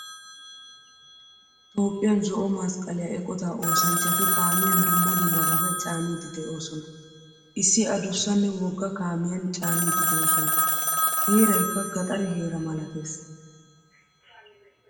Toophphiyan zo'o masqqaliyaa eqqota oosanchchati kaamiyan dumma dummabata caanidi deosona. Issi adduussanne woggaa kaamiyan caanidi deosona. Heeraykka gaxare heera malattees.